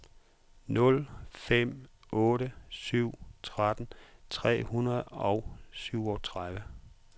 nul fem otte syv tretten tre hundrede og syvogtredive